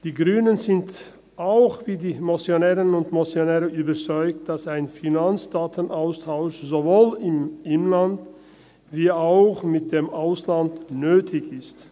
Die Grünen sind wie die Motionärinnen und Motionäre überzeugt, dass ein Finanzdatenaustausch sowohl im Inland wie auch mit dem Ausland nötig ist.